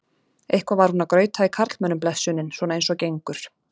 Eitthvað var hún að grauta í karlmönnum blessunin, svona eins og gengur.